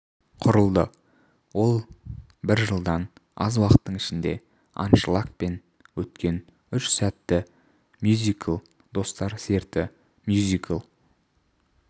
құрылды ол бір жылдан аз уақыттың ішінде аншлагпен өткен үш сәтті мюзикл достар серті мюзикл